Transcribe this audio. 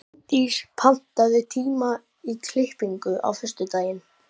Árndís, pantaðu tíma í klippingu á föstudaginn.